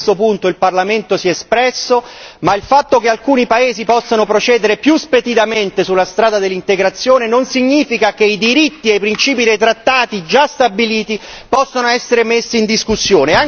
Su questo punto il Parlamento si è espresso ma il fatto che alcuni paesi possano procedere più speditamente sulla strada dell'integrazione non significa che i diritti e i principi dei trattati già stabiliti possano essere messi in discussione.